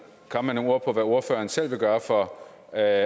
komme med nogle ord på hvad ordføreren selv vil gøre for at